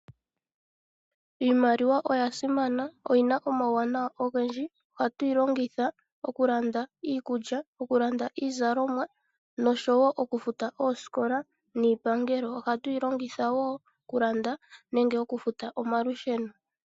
Iimaliwa oya simana, oyi na omauwanawa ogendji. Ohatu yi longitha okulanda iikulya, okulanda iizalomwa noshowo okufuta oosikola niipangelo. Ohatu yi longitha wo okulanda nenge okufuta omalusheno.